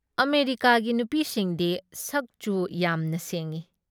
ꯑꯃꯦꯔꯤꯀꯥꯒꯤ ꯅꯨꯄꯤꯁꯤꯡꯗꯤ ꯁꯛ ꯆꯨ ꯌꯥꯝꯅ ꯁꯦꯡꯏ ꯫